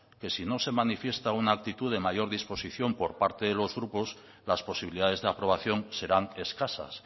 que si no se manifiesta una actitud de mayor disposición por parte de los grupos las posibilidades de aprobación serán escasas